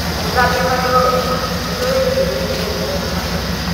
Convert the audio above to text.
Gũthambia magego wega nĩguo ũgirĩrĩrie mũrimũ wa magego.